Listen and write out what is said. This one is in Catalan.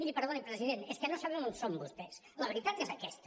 miri perdoni president és que no sabem on són vostès la veritat és aquesta